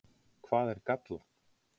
Hvað er gallað?